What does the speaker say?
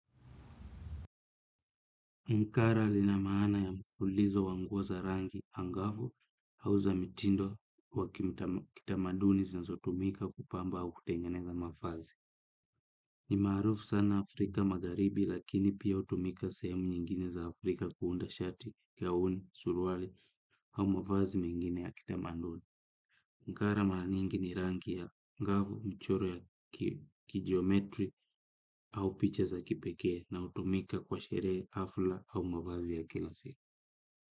Mkara lina maana ya mkulizo wanguwa za rangi angavu hau za mitindo wa kitamaduni zinazo tumika kupamba au kutengeneza mafazi. Ni marufu sana Afrika magharibi lakini pia utumika sehemu nyingine za Afrika kuunda shati, gauni, suruali ama mavazi mengine ya kitamaduni. Mkara maranyingi ni rangi ya ngavu, mchoro ya kijiometri hau picha za kipeke na utumika kwa sherehe hafla au mavazi ya kilose. Kwa hivyo.